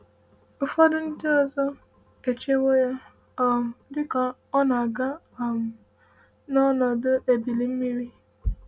“Ụfọdụ ndị ọzọ echewo ya um dị ka ọ na-aga um n’ọnọdụ ebili mmiri.”